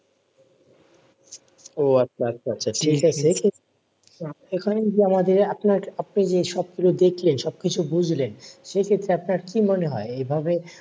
এখানে যে আপনার আপনি যে সবকিছু দেখলেন সবকিছু বুঝলেন। সেক্ষেত্রে আপনার কি মনে হয়? এইভাবে,